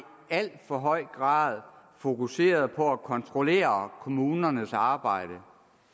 for høj grad fokuseret på at kontrollere kommunernes arbejde